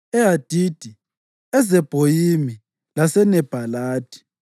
eHadidi, eZebhoyimi laseNebhalathi,